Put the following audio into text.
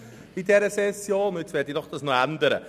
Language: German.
Dies möchte ich nun noch ändern.